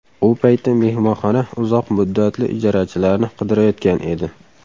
U payti mehmonxona uzoq muddatli ijarachilarni qidirayotgan edi.